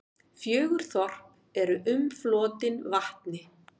Fjögur þorp eru umflotin vatni.